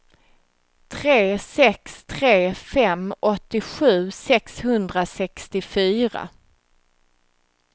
tre sex tre fem åttiosju sexhundrasextiofyra